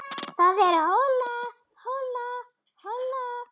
Það er hola, hola, hola.